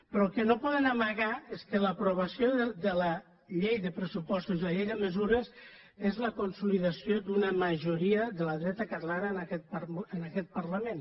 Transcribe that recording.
però el que no poden amagar és que l’aprovació de la llei de pressupostos i la llei de mesures és la consolidació d’una majoria de la dreta catalana en aquest parlament